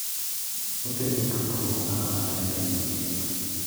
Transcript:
Otego tudruok mar ohala e piny mangima.